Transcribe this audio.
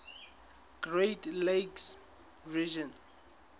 great lakes region